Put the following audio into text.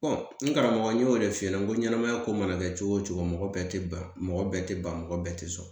n karamɔgɔ n y'o de f'i ɲɛna n ko ɲɛnɛmaya ko mana kɛ cogo cogo mɔgɔ bɛɛ tɛ ban mɔgɔ bɛɛ tɛ ban mɔgɔ bɛɛ tɛ sɔn